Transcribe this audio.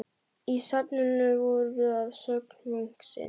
Í safninu voru að sögn munksins